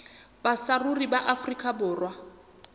ba saruri ba afrika borwa